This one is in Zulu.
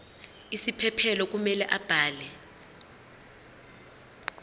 isiphephelo kumele abhale